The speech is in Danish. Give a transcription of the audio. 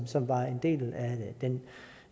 som var en del